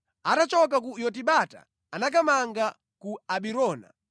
Atachoka ku Yotibata anakamanga ku Abirona.